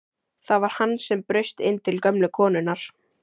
Það var hann sem braust inn til gömlu konunnar!